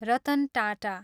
Ratan Tata